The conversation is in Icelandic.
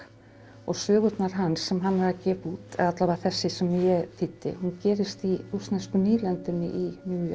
og sögurnar hans sem hann er að gefa út eða alla vega þessi sem ég þýddi hún gerist í rússnesku nýlendunni í New York